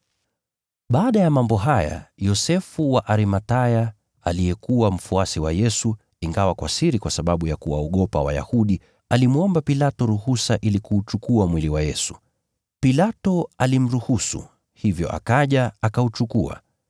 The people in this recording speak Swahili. Baada ya mambo haya, Yosefu wa Arimathaya, aliyekuwa mfuasi wa Yesu, ingawa kwa siri kwa sababu ya kuwaogopa Wayahudi, alimwomba Pilato ruhusa ili kuuchukua mwili wa Yesu. Pilato alimruhusu, hivyo akaja, akauchukua.